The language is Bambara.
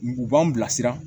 U b'an bilasira